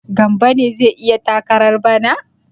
Gambo ne zai yi takarar bana?